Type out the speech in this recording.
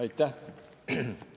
Aitäh!